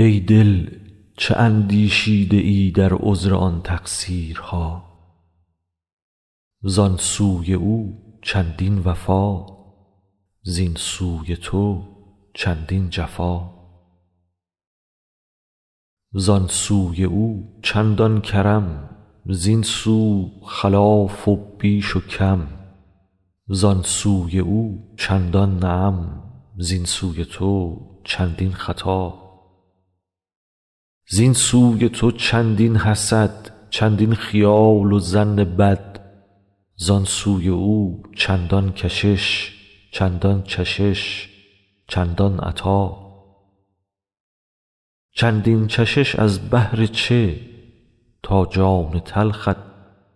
ای دل چه اندیشیده ای در عذر آن تقصیرها زان سوی او چندان وفا زین سوی تو چندین جفا زان سوی او چندان کرم زین سو خلاف و بیش و کم زان سوی او چندان نعم زین سوی تو چندین خطا زین سوی تو چندین حسد چندین خیال و ظن بد زان سوی او چندان کشش چندان چشش چندان عطا چندین چشش از بهر چه تا جان تلخت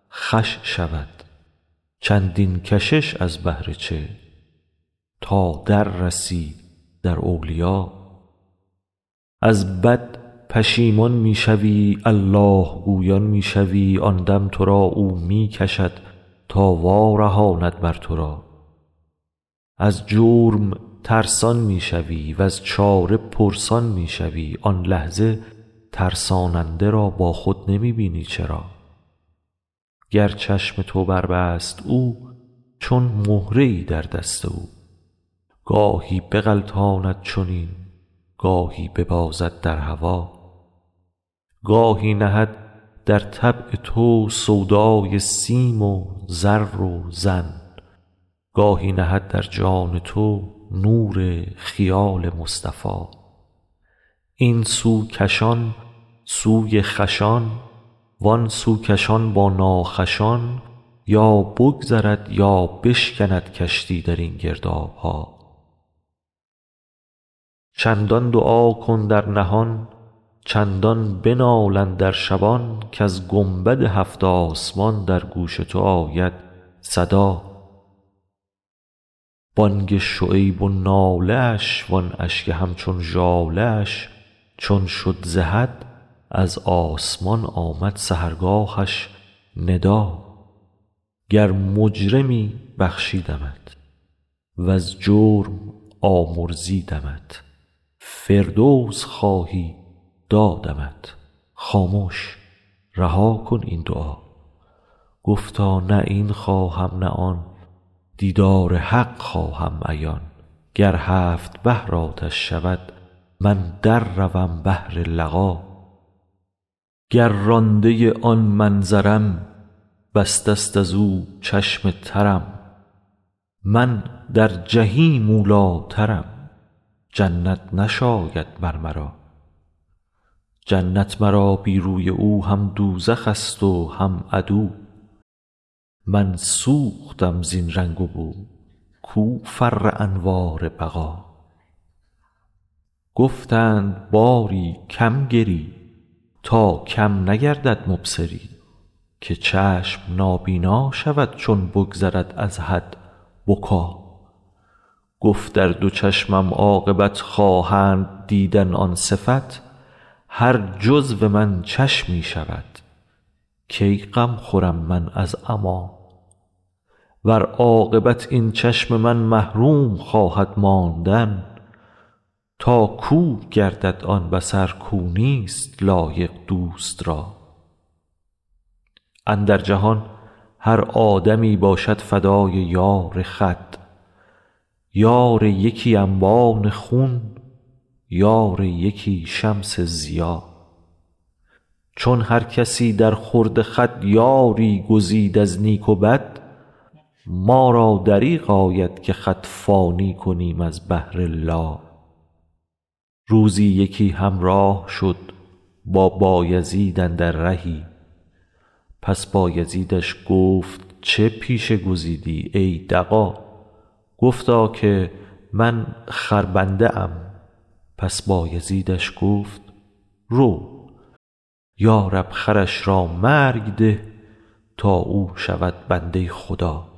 خوش شود چندین کشش از بهر چه تا در رسی در اولیا از بد پشیمان می شوی الله گویان می شوی آن دم تو را او می کشد تا وارهاند مر تو را از جرم ترسان می شوی وز چاره پرسان می شوی آن لحظه ترساننده را با خود نمی بینی چرا گر چشم تو بربست او چون مهره ای در دست او گاهی بغلطاند چنین گاهی ببازد در هوا گاهی نهد در طبع تو سودای سیم و زر و زن گاهی نهد در جان تو نور خیال مصطفیٰ این سو کشان سوی خوشان وان سو کشان با ناخوشان یا بگذرد یا بشکند کشتی در این گرداب ها چندان دعا کن در نهان چندان بنال اندر شبان کز گنبد هفت آسمان در گوش تو آید صدا بانگ شعیب و ناله اش وان اشک همچون ژاله اش چون شد ز حد از آسمان آمد سحرگاهش ندا گر مجرمی بخشیدمت وز جرم آمرزیدمت فردوس خواهی دادمت خامش رها کن این دعا گفتا نه این خواهم نه آن دیدار حق خواهم عیان گر هفت بحر آتش شود من در روم بهر لقا گر رانده آن منظرم بسته است از او چشم ترم من در جحیم اولی ٰترم جنت نشاید مر مرا جنت مرا بی روی او هم دوزخ ست و هم عدو من سوختم زین رنگ و بو کو فر انوار بقا گفتند باری کم گری تا کم نگردد مبصری که چشم نابینا شود چون بگذرد از حد بکا گفت ار دو چشمم عاقبت خواهند دیدن آن صفت هر جزو من چشمی شود کی غم خورم من از عمیٰ ور عاقبت این چشم من محروم خواهد ماندن تا کور گردد آن بصر کو نیست لایق دوست را اندر جهان هر آدمی باشد فدای یار خود یار یکی انبان خون یار یکی شمس ضیا چون هر کسی درخورد خود یاری گزید از نیک و بد ما را دریغ آید که خود فانی کنیم از بهر لا روزی یکی همراه شد با بایزید اندر رهی پس بایزیدش گفت چه پیشه گزیدی ای دغا گفتا که من خربنده ام پس بایزیدش گفت رو یا رب خرش را مرگ ده تا او شود بنده خدا